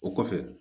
O kɔfɛ